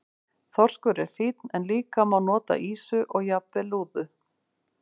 Þorskur er fínn en líka má nota ýsu og jafnvel lúðu.